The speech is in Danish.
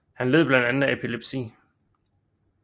Han led blandt andet af epilepsi